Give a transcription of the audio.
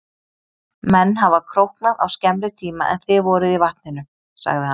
Menn hafa króknað á skemmri tíma en þið voruð í vatninu, sagði hann.